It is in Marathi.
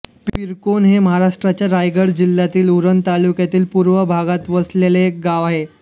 पिरकोन हे महाराष्ट्राच्या रायगड जिल्ह्यातल्या उरण तालुक्याच्या पूर्व भागात वसलेले एक गाव आहे